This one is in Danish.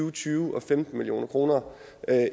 og tyve og femten million kroner